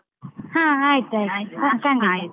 ಹ. ಆಯ್ತಾಯ್ತು ಖಂಡಿತ .